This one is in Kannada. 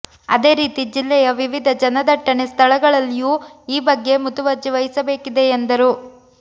ಅದೇ ರೀತಿ ಜಿಲ್ಲೆಯ ವಿವಿಧ ಜನದಟ್ಟಣೆ ಸ್ಥಳಗಳಲ್ಲಿಯೂ ಈ ಬಗ್ಗೆ ಮುತುವರ್ಜಿ ವಹಿಸಬೇಕಿದೆ ಎಂದರು